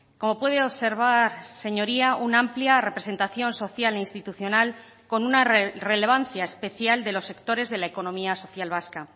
como puede observar señoría una amplia representación social e institucional con una relevancia especial de los sectores de la economía social vasca